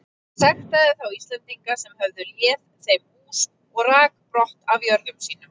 Hann sektaði þá Íslendinga sem höfðu léð þeim hús og rak brott af jörðum sínum.